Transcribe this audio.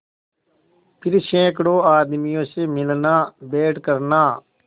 फिर सैकड़ों आदमियों से मिलनाभेंट करना